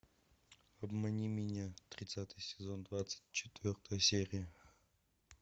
обмани меня тридцатый сезон двадцать четвертая серия